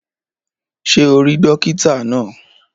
Ṣé o rí dókítà náà?